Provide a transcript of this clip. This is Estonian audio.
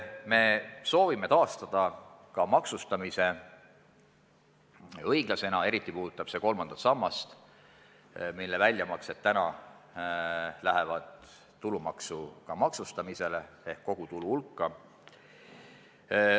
Me soovime taastada ka õiglase maksustamise, eriti puudutab see kolmandat sammast, mille väljamaksed lähevad täna tulumaksuga maksustamisele ehk arvatakse kogutulu hulka.